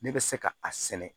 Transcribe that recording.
Ne bɛ se ka a sɛnɛ